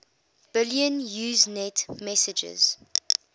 billion usenet messages